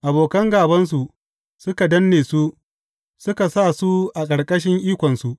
Abokan gābansu suka danne su suka sa su a ƙarƙashin ikonsu.